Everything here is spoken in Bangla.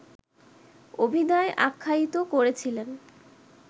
অভিধায় আখ্যায়িত করেছিলেন